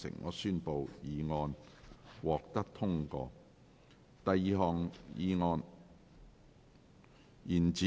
我宣布議案獲得通過。